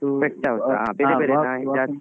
Pet house ಹಾ, ಬೇರೆ ಬೇರೆ ನಾಯಿ ಜಾತಿ ?